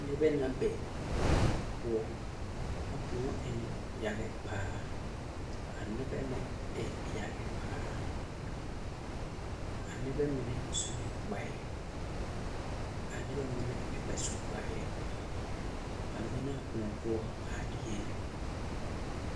Nobɛ na be koɔ poɔ a koɔ ene yagɛ paa a nobɛ meŋ e yagɛ paa a nobɛ mine sune kpaɛ a nobɛ mine meŋ ba su kpaɛ ba be na a koɔ poɔ a deɛnɛ